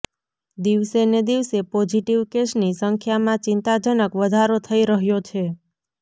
દિવસેને દિવસે પોઝિટિવ કેસની સંખ્યામાં ચિંતાજનક વધારો થઇ રહ્યો છે